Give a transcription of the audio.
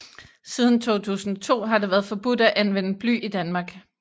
Siden 2002 har det været forbudt at anvende bly i Danmark